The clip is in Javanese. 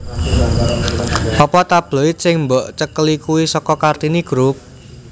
Opo tabloid sing mbok cekeli kui soko Kartini group?